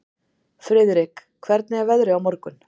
Friðrik, hvernig er veðrið á morgun?